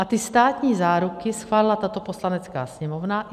A ty státní záruky schválila tato Poslanecká sněmovna.